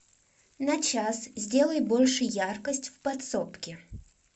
на час сделай больше яркость в подсобке